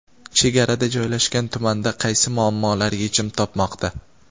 Chegarada joylashgan tumanda qaysi muammolar yechim topmoqda?.